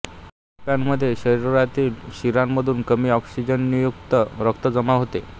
या कप्प्यामध्ये शरीरातील शिरामधून कमी ऑक्सिजनयुक्त रक्त जमा होते